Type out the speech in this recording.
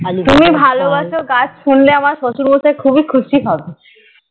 তুমি ভালোবাসো গাছ শুনলে আমার শশুর মশাই খুবই খুশি হবে